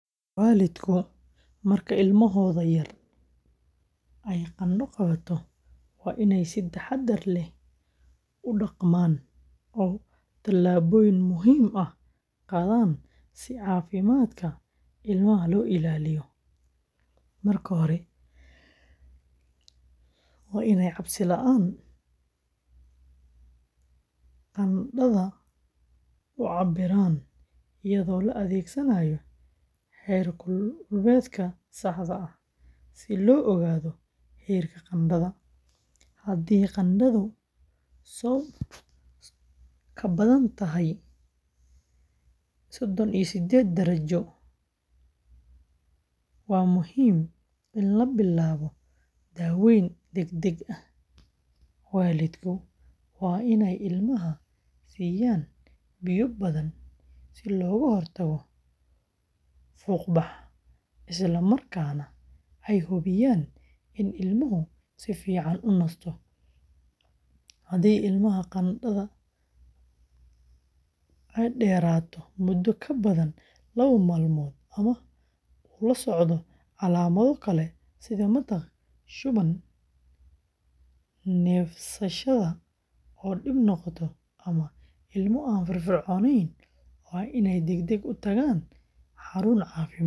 Waalidku marka ilmahooda yar ay qandho qabato, waa inay si taxaddar leh u dhaqmaan oo tallaabooyin muhiim ah qaadaan si caafimaadka ilmaha loo ilaaliyo. Marka hore, waa inay cabsi la’aan qandhada u cabbiraan iyadoo la adeegsanayo heerkulbeeg sax ah, si loo ogaado heerka qandhada. Haddii qandhadu ka badan tahay sodhoon iyo sideed darajo, waa muhiim in la bilaabo daaweyn degdeg ah. Waalidku waa inay ilmaha siiyaan biyo badan si looga hortago fuuqbax, isla markaana ay hubiyaan in ilmuhu si fiican u nasto. Haddii ilmaha qandhada dheerato muddo ka badan laba maalmood ama uu la socdo calaamado kale sida matag, shuban, neefsashada oo dhib noqota, ama ilmo aan firfircoonayn, waa inay degdeg ugu tagaan xarun caafimaad.